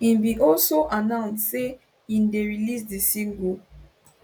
im bin also annound say im dey release di single